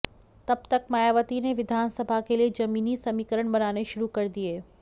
तब तक मायावती ने विधानसभा के लिए जमीनी समीकरण बनाने शुरू कर दिए